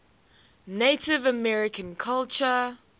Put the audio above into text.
native american culture